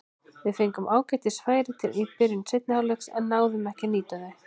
Við fengum ágætis færi í byrjun seinni hálfleiks en náðum ekki að nýta þau.